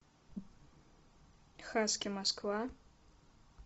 хаски москва